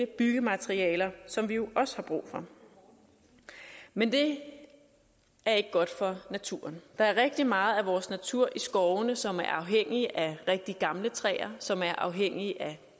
byggematerialer som vi jo også har brug for men det er ikke godt for naturen der er rigtig meget af vores natur i skovene som er afhængig af rigtig gamle træer som er afhængig af